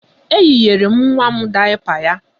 Eyinyere m nwa m dayapa ya.